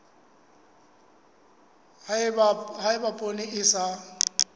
ha eba poone e sa